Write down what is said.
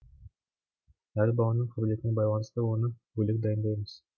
әр баланың қабілетіне байланысты оны бөлек дайындаймыз